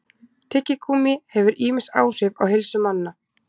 Tyggigúmmí hefur ýmis áhrif á heilsu manna.